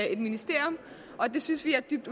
i et ministerium og det synes vi er dybt